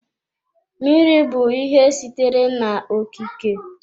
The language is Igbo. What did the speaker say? Mmiri bụ ihe sitere na-okike.